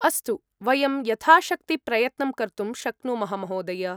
अस्तु, वयं यथाशक्ति प्रयत्नं कर्तुं शक्नुमः महोदय!